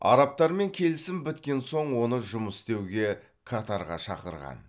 арабтармен келісім біткен соң оны жұмыс істеуге катарға шақырған